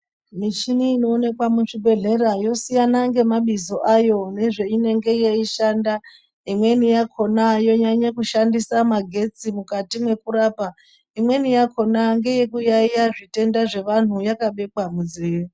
Michini inoonekwa muzvibhedhlera yosiyana ngemabizo ayo nezveinenge yeishanda. Imweni yakhona yonyanye kushandisa magetsi mukati mekurapa. Imweni yacho ndeye kuyaiya zviyaiyo zvevantu yakabekwa munzeve.